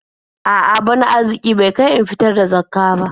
A'a, bana arziƙi bai kai in fitar da Zakkah ba.